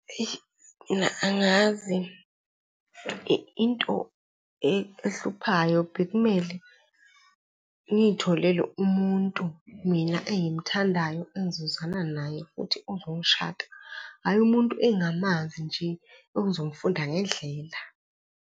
Eyi, mina angazi into ehluphayo bekumele ngiyitholele umuntu mina engimthandayo engizozwana naye futhi ozongishada, hhayi umuntu engingamazi nje ongizomfunda ngendlela.